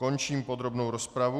Končím podrobnou rozpravu.